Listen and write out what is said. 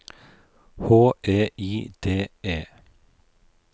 H E I D E